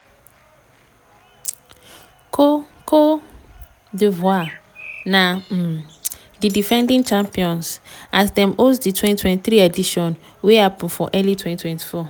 cote cote d'ivoire na um di defending champions as dem host di 2023 edition wey happun for early 2024.